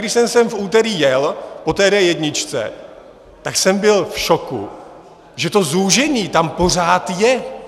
Když jsem sem v úterý jel po D1, tak jsem byl v šoku, že to zúžení tam pořád je.